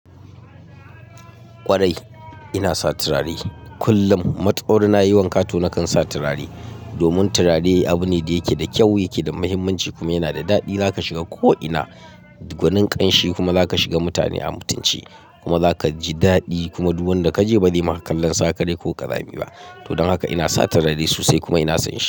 Kwarai ina sa turare kullum. Matsawar na yi wanka tonakan sa turare. Domin turare abu ne da yake da kyau, yake da muhimmanci kuma yana da daɗi. Zaka shiga ko ina gwanin ƙanshi kuma zaka shiga mutane a mutunci kuma zaka ji daɗi kuma duk wanda kaje bazai na kallon sakarai ko ƙazami ba. Don haka ina sa turare sosai kuma ina son shi.